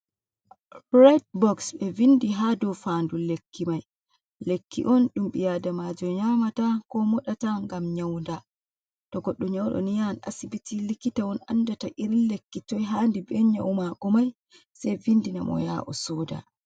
Red boks be vindi ha do fandu lekki mai, lekki on ɗum ɓiadamajo nyamata, ko moɗata ngam nyauda to goɗɗo nyauɗo ni yahan asibiti likitawon andata irin lekki toi handi ben nyau mako mai sei vindina mo ya ha o soda.